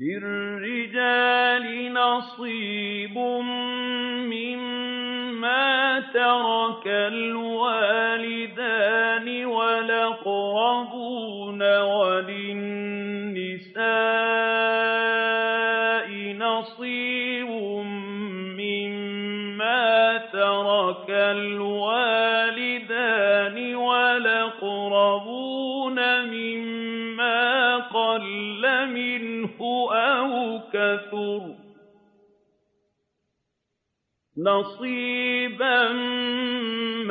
لِّلرِّجَالِ نَصِيبٌ مِّمَّا تَرَكَ الْوَالِدَانِ وَالْأَقْرَبُونَ وَلِلنِّسَاءِ نَصِيبٌ مِّمَّا تَرَكَ الْوَالِدَانِ وَالْأَقْرَبُونَ مِمَّا قَلَّ مِنْهُ أَوْ كَثُرَ ۚ نَصِيبًا